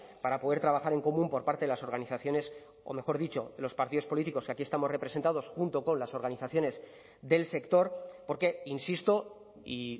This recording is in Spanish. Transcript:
para poder trabajar en común por parte de las organizaciones o mejor dicho los partidos políticos que aquí estamos representados junto con las organizaciones del sector porque insisto y